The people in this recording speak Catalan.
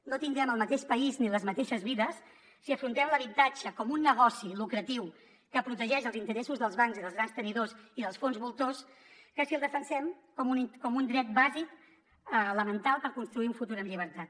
no tindrem el mateix país ni les mateixes vides si afrontem l’habitatge com un negoci lucratiu que protegeix els interessos dels bancs i dels grans tenidors i dels fons voltors que si el defensem com un dret bàsic elemental per construir un futur amb llibertat